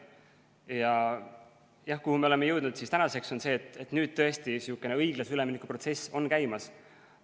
Tänaseks oleme jõudnud sinnani, et nüüd tõesti sihukene õiglase ülemineku protsess on käimas.